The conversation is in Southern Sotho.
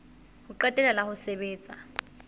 ho qetela la ho sebetsa